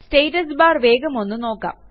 status bar വേഗമൊന്ന് നോക്കാം